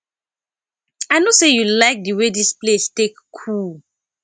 i no say you like the way dis place take cool